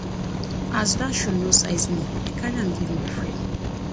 as dat shoe no size me i carry am give my friend